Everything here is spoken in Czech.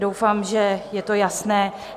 Doufám, že je to jasné.